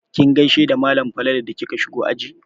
Kin gaishe da malam Falalu da kika shigo aji?